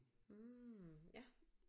Mh ja